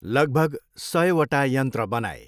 लगभग सयवटा यन्त्र बनाए।